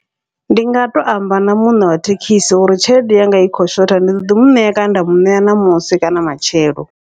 Ndi nga to amba na muṋe wa thekhisi uri tshelede yanga i khou shotha, ndi ḓoḓi muṋea kana nda muṋea ṋamusi kana matshelo.